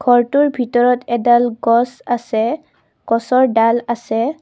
ঘৰটোৰ ভিতৰত এডাল গছ আছে গছৰ ডাল আছে।